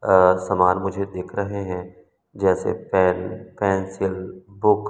अअ समान मुझे देख रहे हैं जैसे पेन पेंसिल बुक --